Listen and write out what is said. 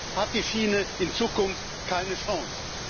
So hat die Schiene in Zukunft keine Chance.